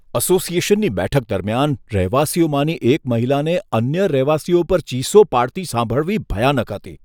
અસોસિએશનની બેઠક દરમિયાન રહેવાસીઓમાંની એક મહિલાને અન્ય રહેવાસીઓ પર ચીસો પાડતી સાંભળવી ભયાનક હતી.